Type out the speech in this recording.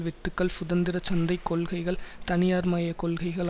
வெட்டுக்கள் சுதந்திர சந்தை கொள்கைகள் தனியார் மய கொள்கைகள்